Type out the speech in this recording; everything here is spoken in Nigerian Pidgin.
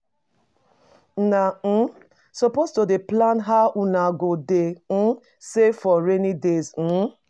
Una um suppose to dey plan how una go dey um save for rainy day. um